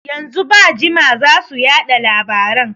Yanzu ba jima zasu yaɗa labaran